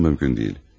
Bu mümkün deyil.